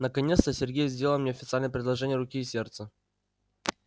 наконец-то сергей сделал мне официальное предложение руки и сердца